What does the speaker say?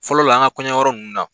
Fɔlɔ la ,an ka kɔɲɔ yɔrɔ nunnu na